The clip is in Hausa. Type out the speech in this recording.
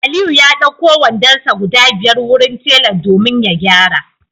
Aliyu ya d'auko wandonsa guda biyar wurin tela domin ya gyara